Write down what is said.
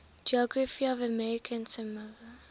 geography of american samoa